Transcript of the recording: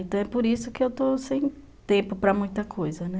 Então é por isso que eu estou sem tempo para muita coisa, né?